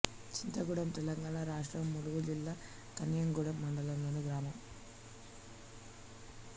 చింతగూడెం తెలంగాణ రాష్ట్రం ములుగు జిల్లా కన్నాయిగూడెం మండలంలోని గ్రామం